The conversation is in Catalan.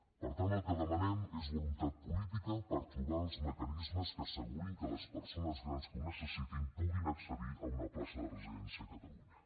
per tant el que demanem és voluntat política per trobar els mecanismes que assegurin que les persones grans que ho necessitin puguin accedir a una plaça de residència a catalunya